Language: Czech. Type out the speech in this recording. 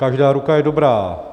Každá ruka je dobrá.